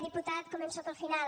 diputat començo pel final